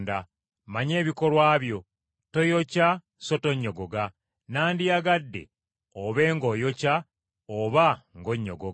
Mmanyi ebikolwa byo: toyokya so tonnyogoga, nandiyagadde obe ng’oyokya oba ng’onnyogoga.